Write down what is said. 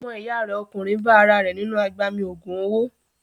Ọmọ ìyá rẹ̀ ọkùnrin bá ara rẹ̀ nínú agbami ògùn owó.